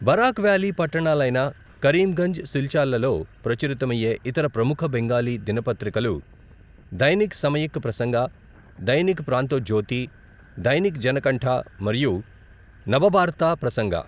Barack valley పట్టణాలైన కరీంగంజ్, సిల్చార్లలో ప్రచురితమయ్యే ఇతర ప్రముఖ బెంగాలీ దినపత్రికలు దైనిక్ సమయిక్ ప్రసంగ, దైనిక్ ప్రాంతోజ్యోతి, దైనిక్ జనకంఠ, మరియు నబబార్త ప్రసంగ.